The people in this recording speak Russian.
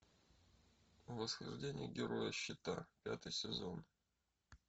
восхождение героя щита пятый сезон